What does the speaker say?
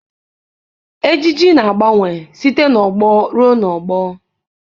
Ejiji na-agbanwe site n'ọgbọ ruo n'ọgbọ.